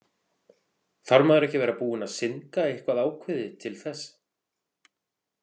Þarf maður ekki að vera búinn að syndga eitthvað ákveðið til þess?